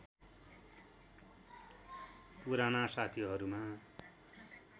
पुराना साथीहरूमा